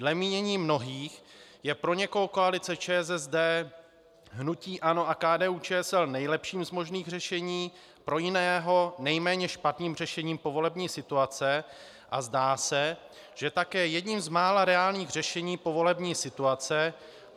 Dle mínění mnohých je pro někoho koalice ČSSD, hnutí ANO a KDU-ČSL nejlepším z možných řešení, pro jiného nejméně špatným řešením povolební situace a zdá se, že také jedním z mála reálných řešení povolební situace.